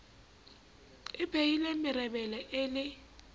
e mpehile merebele e le